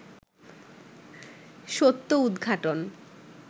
সত্য উদঘাটন